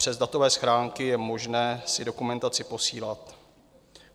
Přes datové schránky je možné si dokumentaci posílat.